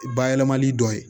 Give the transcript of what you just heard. Bayɛlɛmali dɔ ye